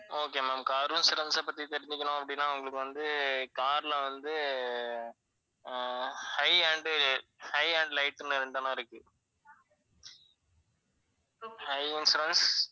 okay ma'am car insurance அ பத்தி தெரிஞ்சுக்கணும் அப்படின்னா உங்களுக்கு வந்து car ல வந்து, ah high and high and light இருக்கு. high insurance